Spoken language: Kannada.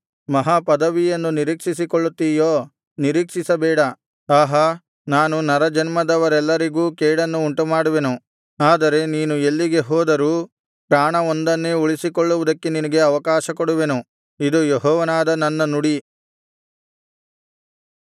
ಮಹಾಪದವಿಯನ್ನು ನಿರೀಕ್ಷಿಸಿಕೊಳ್ಳುತ್ತೀಯೋ ನಿರೀಕ್ಷಿಸ ಬೇಡ ಆಹಾ ನಾನು ನರಜನ್ಮದವರೆಲ್ಲರಿಗೂ ಕೇಡನ್ನು ಉಂಟುಮಾಡುವೆನು ಆದರೆ ನೀನು ಎಲ್ಲಿಗೆ ಹೋದರೂ ಪ್ರಾಣವೊಂದನ್ನೇ ಉಳಿಸಿಕೊಳ್ಳುವುದಕ್ಕೆ ನಿನಗೆ ಅವಕಾಶ ಕೊಡುವೆನು ಇದು ಯೆಹೋವನಾದ ನನ್ನ ನುಡಿ